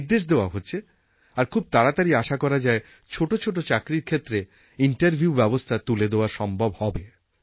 নির্দেশ দেওয়া হচ্ছে আর খুব তাড়াতাড়ি আশা করা যায় ছোটো ছোটো চাকরির ক্ষেত্রে ইন্টারভিউ ব্যবস্থা তুলে দেওয়া সম্ভব হবে